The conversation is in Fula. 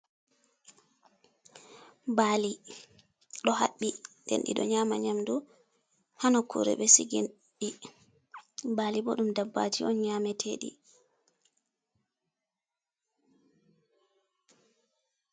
Bali ɗo haɓɓi den ɗiɗo nyama nyamdu ha nokkure ɓe sigi ɗi, bali bo ɗum dabbaji on nyameteɗi.